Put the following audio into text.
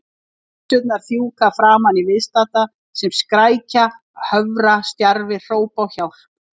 Lufsurnar fjúka framan í viðstadda sem skrækja, hörfa stjarfir, hrópa á hjálp.